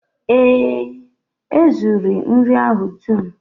Ee e, e zuru nri ahụ dum